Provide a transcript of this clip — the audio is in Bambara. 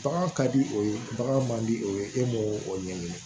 Bagan ka di o ye bagan man di o ye e m'o o ɲɛɲini